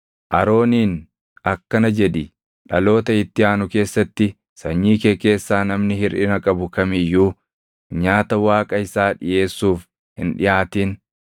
“Arooniin akkana jedhi: ‘Dhaloota itti aanu keessatti sanyii kee keessaa namni hirʼina qabu kam iyyuu nyaata Waaqa isaa dhiʼeessuuf hin dhiʼaatin.